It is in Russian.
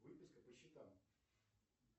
выписка по счетам